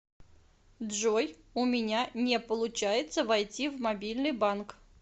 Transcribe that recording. джой у меня не получается войти в мобильный банк